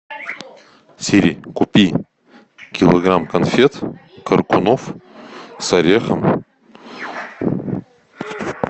сири купи килограмм конфет коркунов с орехом